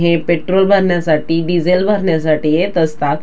हे पेट्रोल भरण्यासाठी डिझेल भरण्यासाठी येत असतात.